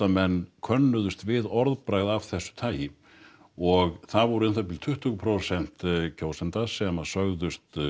menn könnuðust við orðbragð af þessu tagi og það voru um tuttugu prósent kjósenda sem sögðust